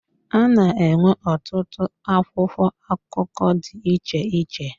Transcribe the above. A na-enwe ọtụtụ akwụkwọ akụkọ dị iche iche.